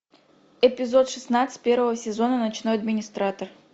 эпизод шестнадцать первого сезона ночной администратор